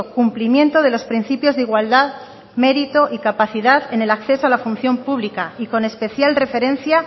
cumplimiento de los principios de igualdad mérito y capacidad en el acceso a la función pública y con especial referencia